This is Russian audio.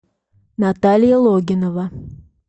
наталья логинова